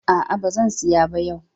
A'a, ba zan siya ba yau.